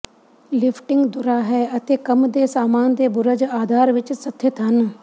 lifting ਧੁਰਾ ਹੈ ਅਤੇ ਕੰਮ ਦੇ ਸਾਮਾਨ ਦੇ ਬੁਰਜ ਆਧਾਰ ਵਿੱਚ ਸਥਿਤ ਹਨ